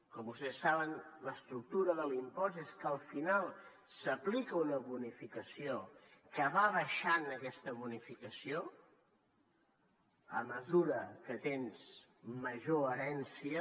com vostès saben l’estructura de l’impost és que al final s’aplica una bonificació que va baixant aquesta bonificació a mesura que tens major herència